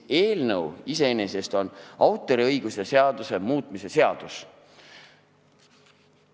Eelnõu iseenesest on autoriõiguse seaduse muutmise seadus.